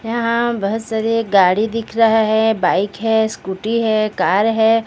यहां बस और एक गाड़ी दिख रहा है बाइक है स्कूटी है कार है।